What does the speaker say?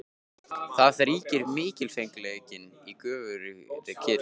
Þar ríkir mikilfengleikinn í göfugri kyrrð.